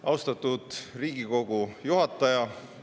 Austatud Riigikogu juhataja!